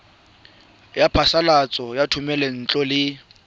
ya phasalatso ya thomelontle le